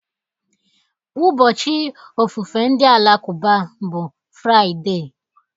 Ụbọchị ofufe ndị Alakụba bụ Fraịde